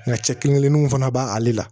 Nka cɛ kelen kelenninw fana b'ale la